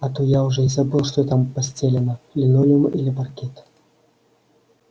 а то я уже и забыл что там постелено линолеум или паркет